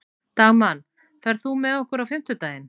Dagmann, ferð þú með okkur á fimmtudaginn?